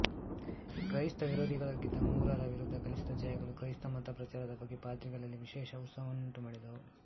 ಕ್ರೈಸ್ತ ವಿರೋಧಿಗಳಾಗಿದ್ದ ಮೂರರ ವಿರುದ್ಧ ಗಳಿಸಿದ ಜಯಗಳು ಕ್ರೈಸ್ತ ಮತ ಪ್ರಚಾರದ ಬಗ್ಗೆ ಪಾದ್ರಿಗಳಲ್ಲಿ ವಿಶೇಷ ಉತ್ಸಾಹವನ್ನುಂಟು ಮಾಡಿದವು